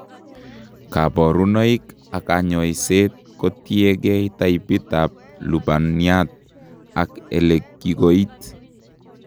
Kaborunoik ak kanyoiseet kotiengee taipit ab lubaniat ak elekikoit